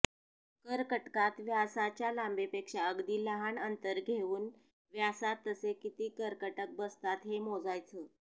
करकटकात व्यासाच्या लांबीपेक्षा अगदी लहान अंतर घेऊन व्यासात तसे किती करकटक बसतात हे मोजायचं